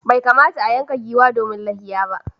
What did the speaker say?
Bai kamata a yanka giwa domin layya.